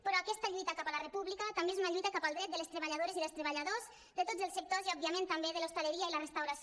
però aquesta lluita cap a la república també és una lluita cap al dret de les treballadores i dels treballadors de tots els sectors i òbviament també de l’hostaleria i la restauració